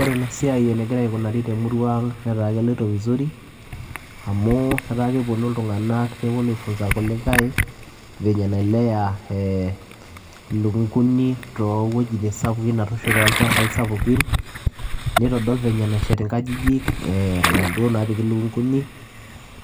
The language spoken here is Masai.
Ore ena siai enegira aikunarii naa keloito vizuri kepuonuu ilntunganak aitengen irkulie venye nailea ilukunguni to wuejitin sapukin nitodol venye nashet inkajijik oolokunguni